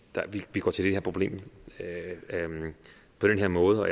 vi går til det her problem på den her måde